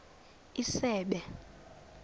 isebe